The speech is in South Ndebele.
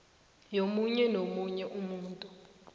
yomunye nomunye umuntu